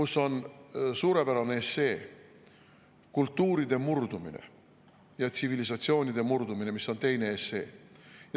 Seal on suurepärane essee "Kultuuride murdumine" ja "Tsivilisatsioonide murdumine" on teine essee.